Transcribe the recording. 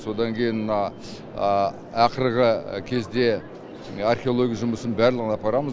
содан кейін мына ақырғы кезде археология жұмысын барлығын апарамыз